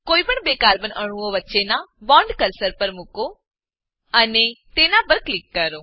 કોઈપણ બે કાર્બન અણુઓ વચ્ચેનાં બોન્ડ પર કર્સર મુકો અને તેના પર ક્લિક કરો